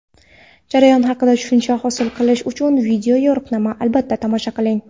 jarayon haqida tushuncha hosil qilish uchun video-yo‘riqnomani albatta tomosha qiling.